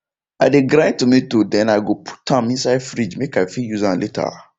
i de grind tomato then i go put am inside fridge make i fit use am later